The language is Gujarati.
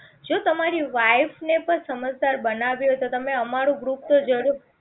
જો તમારી wife ને પણ સમજદાર બનાવી હોય તો તમે અમારું Group તો જરૂર